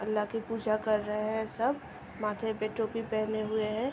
आल्हा की पूजा कर रहे हैं सब। माथे पे टोपी पहने हुए हैं।